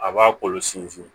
A b'a kolo sinsin